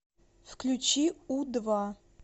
включи у два